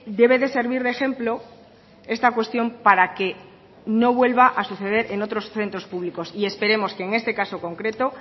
debe de servir de ejemplo esta cuestión para que no vuelva a suceder en otros centros públicos y esperemos que en este caso concreto